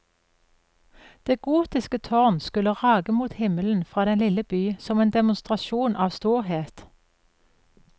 Det gotiske tårn skulle rage mot himmelen fra den lille by som en demonstrasjon av storhet.